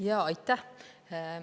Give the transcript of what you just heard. Jaa, aitäh!